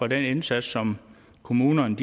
den indsats som kommunerne